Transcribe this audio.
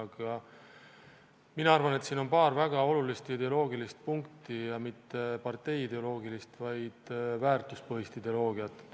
Aga mina arvan, et siin on paar väga olulist ideoloogilist punkti – ja mitte partei-ideoloogilist, vaid väärtuspõhist ideoloogiat.